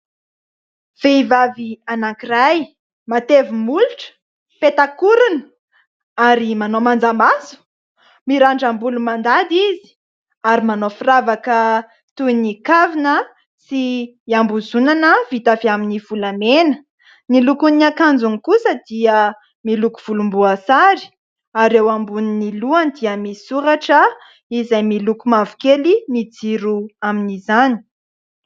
Vehivavy anankiray matevi-molotra, petak'orona ary manao manja maso, mirandram-bolo mandady izy ary manao firavaka toy ny kavina sy hiambozonana vita avy amin'ny volamena, ny lokon'ny akanjony kosa dia miloko volomboasary ary eo ambonin'ny lohany dia misy soratra izay miloko mavokely ny jiro amin'izany.